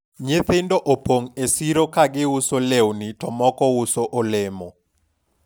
nyithindo opong' e siro ka giuso lewni to moko uso olemo